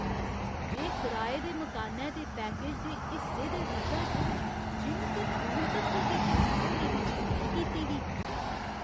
में कराए दे मकानै दे पैकेज दे हिस्से दे रूपै च जिम ते पूल तक्कर दी पुज्ज होने दी मेद नेईं कीती ही।